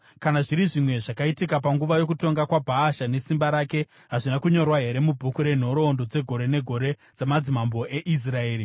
Kana zviri zvimwe zvakaitika panguva yokutonga kwaBhaasha, nesimba rake, hazvina kunyorwa here mubhuku renhoroondo dzegore negore dzamadzimambo eIsraeri?